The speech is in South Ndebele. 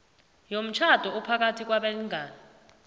yomtjhado ophakathi kwabalingani